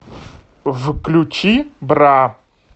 включи бра